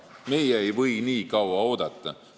Meie ei või nii kaua oodata.